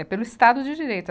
É pelo Estado de Direito.